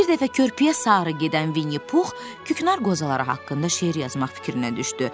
Bir dəfə körpüyə sarı gedən Vinni Pux küknar qozaları haqqında şeir yazmaq fikrinə düşdü.